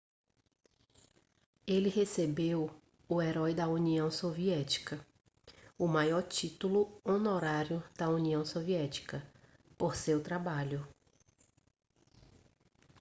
ele recebeu o herói da união soviética o maior título honorário da união soviética por seu trabalho